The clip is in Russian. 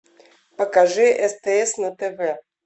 покажи стс на тв